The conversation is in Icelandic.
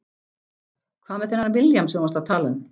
Hvað með þennan William sem þú varst að tala um?